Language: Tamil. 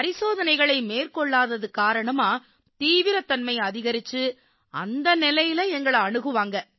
பரிசோதனைகளை மேற்கொள்ளாதது காரணமா தீவிரத்தன்மை அதிகரிச்சு அந்த நிலையில எங்களை அணுகுவாங்க